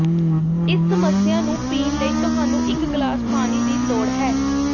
ਇਸ ਸਮੱਸਿਆ ਨੂੰ ਪੀਣ ਲਈ ਤੁਹਾਨੂੰ ਇਕ ਗਲਾਸ ਪਾਣੀ ਦੀ ਲੋੜ ਹੈ